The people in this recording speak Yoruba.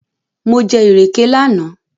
Mo jẹ ìrèké lánàá